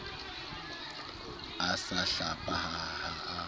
a sa hlapa ha a